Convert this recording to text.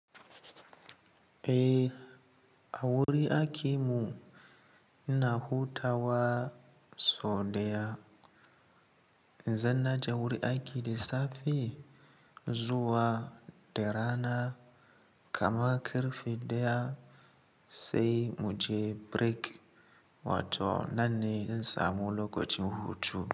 Eh, a wurin aikin mu ina hutawa sau ɗaya. Idan na je wurin aiki da safe zuwa da rana, kaman ƙarfe ɗaya sai muje break wato nan ne zan samu lokacin hutu.